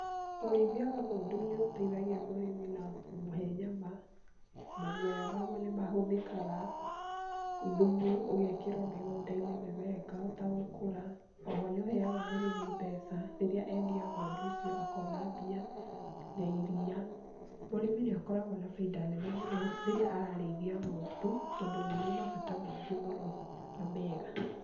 Ũrĩithia wa ng'ondu nĩ ũteithagia mũrĩmi na kũmũhe nyama, maguoya ma guo nĩ mahũthĩkaga, thumu ũgekĩrwo mĩgũnda-inĩ mĩmera ĩkahota gũkũra, oho nĩ ũheaga mũrĩmi mbeca rĩrĩa endia ng'ondu icio akona mbia, na iriia, mũrĩmi nĩ akoragwo na bainda nene mũno rĩrĩa ararĩithia ng'ondu tondũ nĩ irĩ mabata maingĩ mũno na mega.